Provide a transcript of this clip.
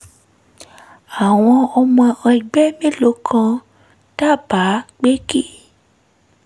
àwọn ọmọ ẹgbẹ́ mélòó kan dábàá pé kí